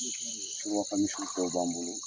misi tɔw b'an bolo.